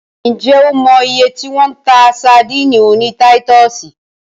Ǹ jẹ́ o mọ iye tí wọ́n ń ta sadíìnì oní táítọ̀sì?